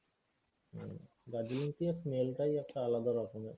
হম Darjeeling tea এর smell টাই একটা আলাদা রকমের।